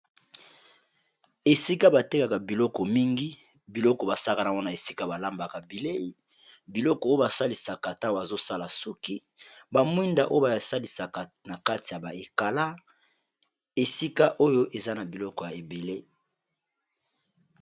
Esika ba tekaka biloko mingi biloko ba sakana wana esika ba lambaka bilei, biloko oyo ba salisaka ta bazosala suki, ba mwinda oyo ba salisaka na kati ya ba ekala esika oyo eza na biloko ya ebele.